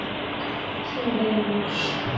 Hún veinar.